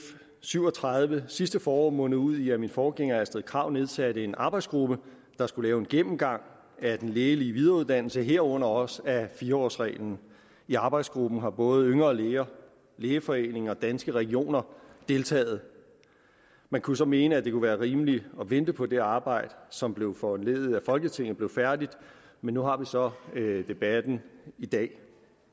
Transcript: syv og tredive sidste forår mundede ud i at min forgænger fru astrid krag nedsatte en arbejdsgruppe der skulle lave en gennemgang af den lægelige videreuddannelse herunder også af fire årsreglen i arbejdsgruppen har både yngre læger lægeforeningen og danske regioner deltaget man kunne så mene at det kunne være rimeligt at vente på at det arbejde som blev foranlediget af folketinget blev færdigt men nu har vi så debatten i dag